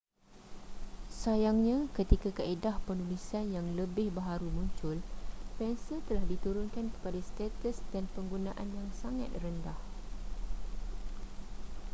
sayangnya ketika kaedah penulisan yang lebih baharu muncul pensel telah diturunkan kepada status dan penggunaan yang sangat rendah